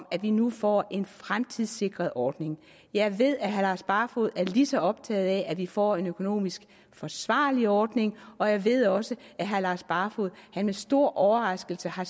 at vi nu får en fremtidssikret ordning jeg ved at herre lars barfoed er lige så optaget af at vi får en økonomisk forsvarlig ordning og jeg ved også at herre lars barfoed med stor overraskelse har